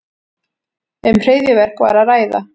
Um hryðjuverk var að ræða